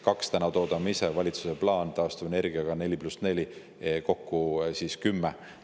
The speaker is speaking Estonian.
Kaks toodame täna ise, valitsuse plaan taastuvenergiaga on 4 + 4, kokku 10.